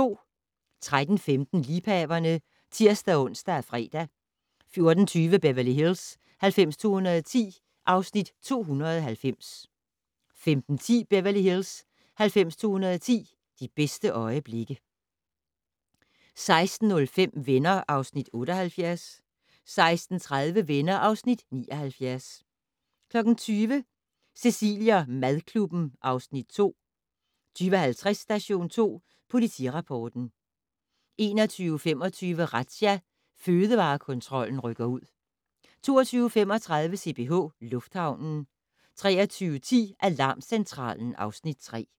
13:15: Liebhaverne (tir-ons og fre) 14:20: Beverly Hills 90210 (Afs. 290) 15:10: Beverly Hills 90210 - de bedste øjeblikke 16:05: Venner (Afs. 78) 16:30: Venner (Afs. 79) 20:00: Cecilie & madklubben (Afs. 2) 20:50: Station 2 Politirapporten 21:25: Razzia - Fødevarekontrollen rykker ud 22:35: CPH Lufthavnen 23:10: Alarmcentralen (Afs. 3)